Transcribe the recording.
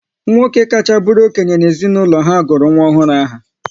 Nwoke kacha bụrụ okenye na-ezinaụlọ ha gụrụ nwa ọhụrụ aha